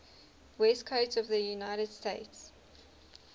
west coast of the united states